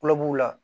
Kulɔbugu la